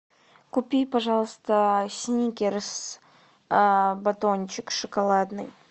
купи пожалуйста сникерс батончик шоколадный